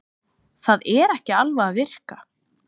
Það er ekki alveg að virka